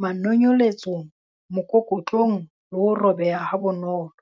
manonyeletsong, mokokotlong le ho robeha ha bonolo.